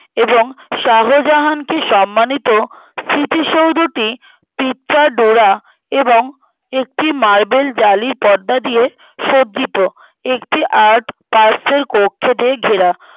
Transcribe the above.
এবং শাহজাহানকে সম্মানিত স্মৃতিসৌধটি পিচ্চা ডোরা এবং একটি marble জালি পর্দা দিয়ে সজ্জিত একটি art বাইরের কক্ষ দিয়ে ঘেরা